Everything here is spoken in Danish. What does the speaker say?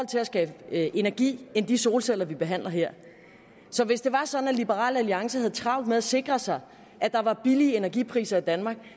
til at skabe energi end de solceller vi behandler her så hvis det var sådan at liberal alliance havde travlt med at sikre sig at der var billige elpriser i danmark